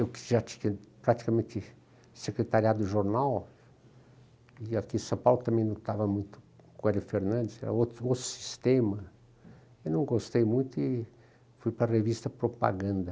Eu que já tinha praticamente secretariado o jornal, e aqui em São Paulo também não estava muito com o Elio Fernandes, era outro sistema, eu não gostei muito e fui para a revista Propaganda.